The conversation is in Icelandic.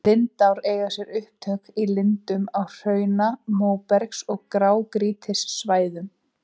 Lindár eiga sér upptök í lindum á hrauna-, móbergs- og grágrýtissvæðum.